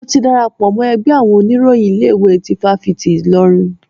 Mo ti darapọ̀ mọ́ ẹgbẹ́ àwọn oníròyìn ilé ìwé tí ifáfitì Ilorin.